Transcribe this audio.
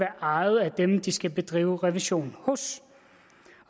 ejet af dem de skal bedrive revision hos